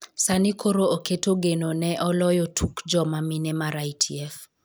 sani koro oketo geno ne eloyo tuk joma mine mar ITF